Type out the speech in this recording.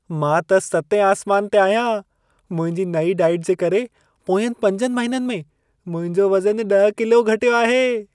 मां त सतें आसमान ते आहियां। मुंहिंजी नईं डाइट जे करे पोयंनि 5 महिननि में मुंहिंजो वज़नु 10 किलो घटियो आहे।